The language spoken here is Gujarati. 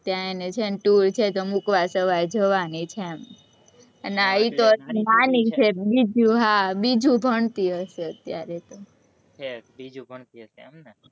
ત્યાં એને છે, ને tour છે, તો મુકવા સવારમાં જવાની છે, એમ અને ઈ તો નાની છે, બીજું, હા, બીજું ભણતી હશે અત્યારે તો,